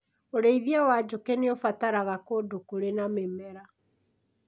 ũrĩithi wa njukĩ nĩ ũbataraga kũndũ kũrĩ na mĩmera.